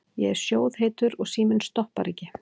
Ég er sjóðheitur og síminn stoppar ekki.